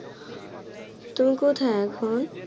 তুই কোথায় এখন?